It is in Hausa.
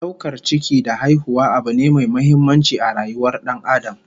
Daukar ciki da haihuwa abu ne mai muhimmanci a rayuwar Dan Adam